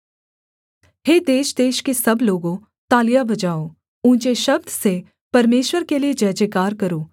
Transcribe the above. हे देशदेश के सब लोगों तालियाँ बजाओ ऊँचे शब्द से परमेश्वर के लिये जयजयकार करो